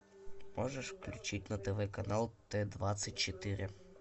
можешь включить на тв канал т двадцать четыре